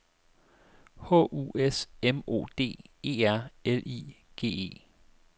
H U S M O D E R L I G E